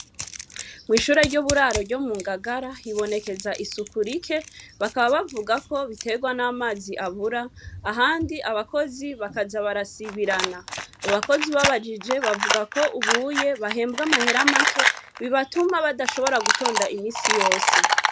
Kw'ishure ry'uburaro ryo mungagara hibonekeza isuku rike bakaba bavuga ko biterwa n'amazi abura ahandi abakozi bakaza barasibirana. Abakozi ubabajije bavuga ko ubuye bahembwa amahera make bibatuma badashobora gutonda imisi yose.